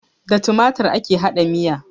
Da tumatur ake haɗa miya